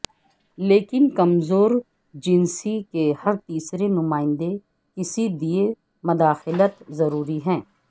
لیکن کمزور جنسی کے ہر تیسرے نمائندے کسی دیئے مداخلت ضروری ہے